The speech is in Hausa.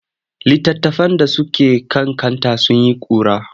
Litattafan da suke kan kanta sun yi ƙura.